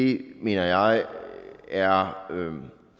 det mener jeg er